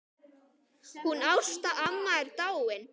Hún Ásta amma er dáin.